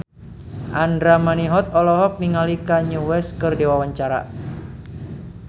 Andra Manihot olohok ningali Kanye West keur diwawancara